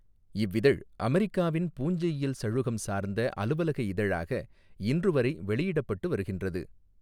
இவ்விதழ் அமெரிக்காவின் பூஞ்சையியல் சழுகம் சார்ந்த அலுவலக இதழாக இன்று வரை வெளியிடப்பட்டு வருகின்றது.